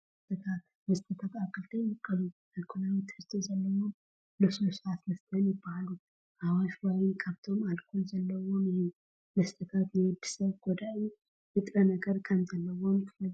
መስተታት፡- መስተታት ኣብ ክልተ ይምቀሉ፡፡ ኣልኮላዊ ትሕዝቶ ዘለዎምን ልስሉሳት መስተታትን ይባሃሉ፡፡ ኣዋሽ ዋይን ካብቶም ኣልኮል ዘለዎም እዩ፡፡ መስተታት ንወዲ ሰብ ጎዳኢ ንጥረነገር ከምዘለዎም ትፈልጡ ዶ?